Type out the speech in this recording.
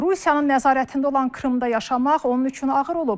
Rusiyanın nəzarətində olan Krımda yaşamaq onun üçün ağır olub.